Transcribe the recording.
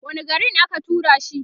wani garin aka turashi